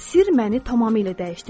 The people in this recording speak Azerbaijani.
Sir məni tamamilə dəyişdirdi.